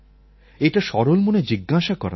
এটা সরল মনে জিজ্ঞাসা করা দরকার